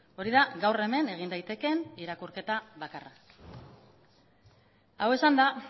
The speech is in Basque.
hori da gaur hemen egin daitekeen irakurketa bakarra hau esanda